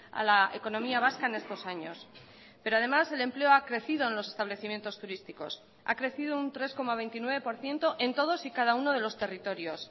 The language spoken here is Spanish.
a la economía vasca en estos años pero además el empleo ha crecido en los establecimientos turísticos ha crecido un tres coma veintinueve por ciento en todos y cada uno de los territorios